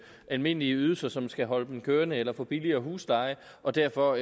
almindelige ydelser som skal holde dem kørende eller få billigere husleje og derfor